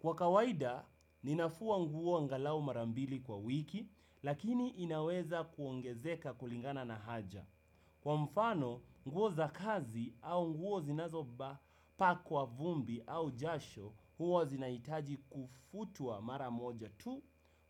Kwa kawaida, ninafua nguo angalau mara mbili kwa wiki, lakini inaweza kuongezeka kulingana na haja. Kwa mfano, nguo za kazi au nguo zinazopakwa vumbi au jasho huwa zinahitaji kufutwa mara moja tu,